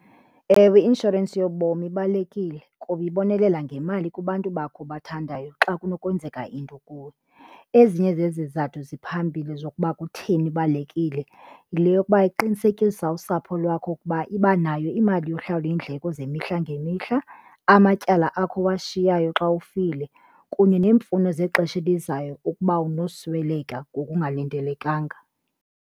Ewe, i-inshorensi yobomi ibalulekile kuba ibonelela ngemali kubantu bakho obathandayo xa kunokwenzeka into kuwe. Ezinye zezithathu ziphambili zokuba kutheni ibalulekile yile yokuba iqinisekisa usapho lwakho ukuba iba nayo imali yokuhlawula iindleko zemihla ngemihla, amatyala akho owashiyayo xa ufile kunye neemfuno zexesha elizayo ukuba unosweleka ngokungalindelekanga.